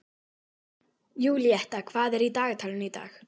Júlíetta, hvað er í dagatalinu í dag?